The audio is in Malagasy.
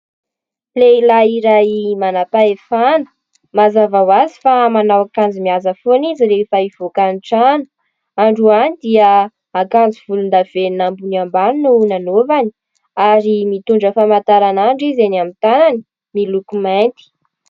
Lehilahy iray manampahefana, mazava ho azy fa manao akanjo mihaja foana izy rehefa hivoaka ny trano. Androany dia akanjo volondavenona ambony ambany no nanaovany ary mitondra famantaranandro izy eny amin'ny tanany, miloko mainty.